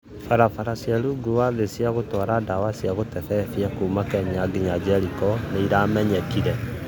Barabara cĩa rũngũ wa thĩ cĩa gũtwara dawa cĩa gũtebebia kũma Kenya nginya Jerĩko nĩĩramenyekĩre